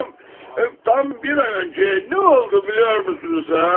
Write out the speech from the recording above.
Tam, tam bir ay öncə nə oldu biliyormusunuzsa?